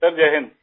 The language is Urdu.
سر جے ہند